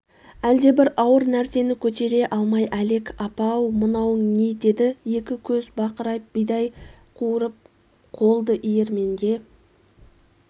әлдебір ауыр нәрсені көтере алмай әлек апа-ау мынауың не деді екі көз бақырайып бидай қуырып қолдиірменге